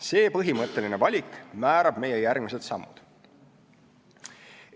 See põhimõtteline valik määrab meie järgmised sammud.